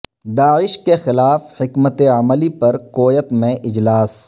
داعش کے خلاف حکمت عملی پر کویت میں اجلاس